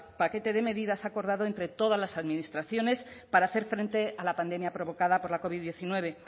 paquete de medidas acordado entre todas las administraciones para hacer frente a la pandemia provocada por la covid hemeretzi